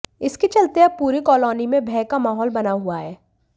इसके चलते अब पूरी कालोनी में भय का माहौल बना हुआ है